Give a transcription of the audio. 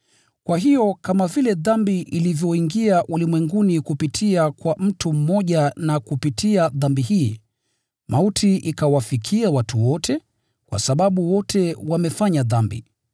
Kwa hiyo kama vile dhambi ilivyoingia ulimwenguni kupitia kwa mtu mmoja, na kupitia dhambi hii mauti ikawafikia watu wote, kwa sababu wote wamefanya dhambi: